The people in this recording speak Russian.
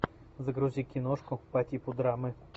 загрузи киношку по типу драмы